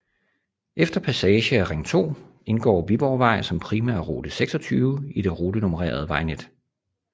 Efter passage af Ring 2 indgår Viborgvej som Primærrute 26 i det rutenummererede vejnet